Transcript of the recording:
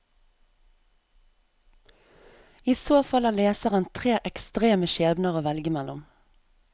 I så fall har leseren tre ekstreme skjebner å velge mellom.